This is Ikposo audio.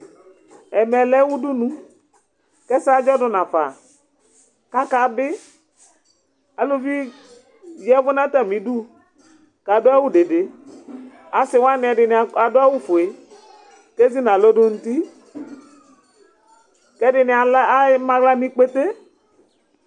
Ɛmɛ lɛ udunu k'ɛsɛ aɖzɔ du na fa ka ka bi Aluvi di yavu na ta mí ɖu ka du awu dede, asi wani ɛdini adu awu fue ke zi na lɔ du nu uti , kɛ di ni ama aɣla nu ikpete